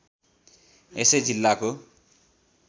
यसै जिल्लाको